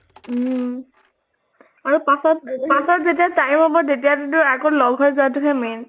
উম আৰু পাছত পাছত যেতিয়া time হʼব তেতিয়াতো টো আকৌ লগ হৈ যোৱা টোহে main